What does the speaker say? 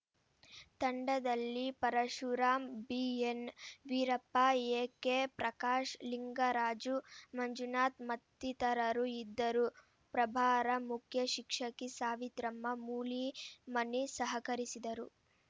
ತಂಡದಲ್ಲಿ Parashuram B N Veerappa A K Prakash Lingaraju Manjunath ಮತ್ತಿತರರು ಇದ್ದರು ಪ್ರಭಾರ ಮುಖ್ಯ ಶಿಕ್ಷಕಿ ಸಾವಿತ್ರಮ್ಮ ಮೂಲಿಮನಿ ಸಹಕರಿಸಿದರು